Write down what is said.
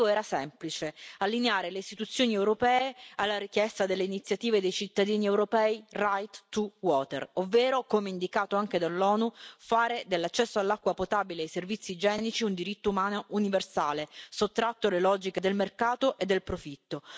L'obbiettivo era semplice allineare le istituzioni europee alla richiesta dell'iniziativa dei cittadini europei Right2Water ovvero, come indicato anche dall'ONU, fare dell'accesso all'acqua potabile e ai servizi igienici un diritto umano universale, sottratto alle logiche del mercato e del profitto.